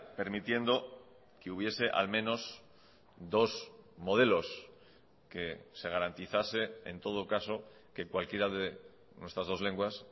permitiendo que hubiese al menos dos modelos que se garantizase en todo caso que cualquiera de nuestras dos lenguas